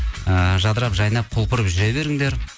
ыыы жадырап жайнап құлпырып жүре беріңдер